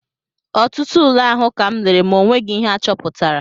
Ọtụtụ ule ahụ kam lere ma o nweghị ihe achọpụtara